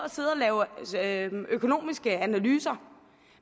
lave økonomiske analyser